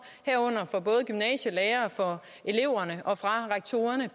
herunder fra både gymnasielærere fra eleverne og fra rektorerne